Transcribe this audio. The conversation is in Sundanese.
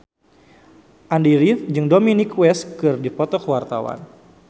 Andy rif jeung Dominic West keur dipoto ku wartawan